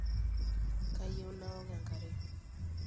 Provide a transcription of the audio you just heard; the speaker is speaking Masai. kayieu naok enkare